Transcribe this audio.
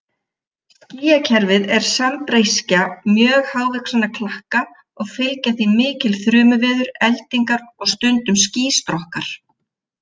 Skýjakerfið er sambreyskja mjög hávaxinna klakka og fylgja því mikil þrumuveður, eldingar og stundum skýstrokkar.